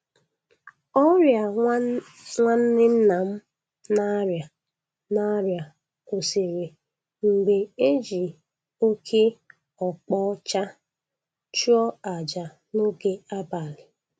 Ọrịa nwa nwanne nna m na-arịa na-arịa kwụsịrị mgbe e ji oke ọkpa ọcha chụọ aja n'oge abalị